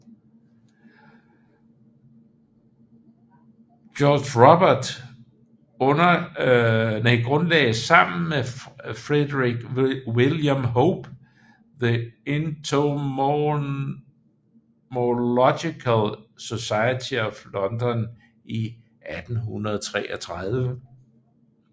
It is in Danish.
George Robert grundlagde sammen med Frederick William Hope The Entomological Society of London i 1833